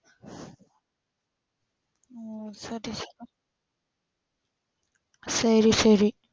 சேரி சேரி